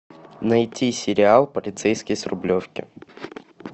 найти сериал полицейский с рублевки